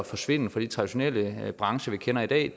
forsvinde fra de traditionelle brancher vi kender i dag